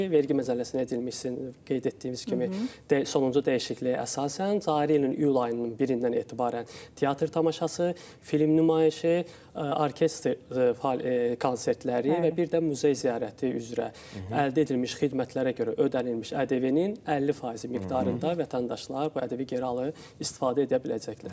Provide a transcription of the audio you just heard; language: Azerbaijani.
Vergi məcəlləsinə edilmiş, sizin qeyd etdiyiniz kimi, sonuncu dəyişikliyə əsasən cari ilin iyul ayının 1-dən etibarən teatr tamaşası, film nümayişi, orkestr konsertləri və bir də muzey ziyarəti üzrə əldə edilmiş xidmətlərə görə ödənilmiş ƏDV-nin 50% miqdarında vətəndaşlar bu ƏDV geri alıb istifadə edə biləcəklər.